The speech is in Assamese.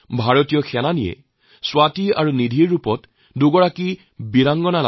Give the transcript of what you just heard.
ভাৰতীয় সেনা লেফটেনেন্ট স্বাতি আৰু নিধি নামৰ দুগৰাকী অসাধাৰণ বীৰাংগনা